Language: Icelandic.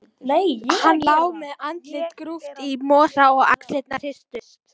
Hann lá með andlitið grúft í mosa og axlirnar hristust.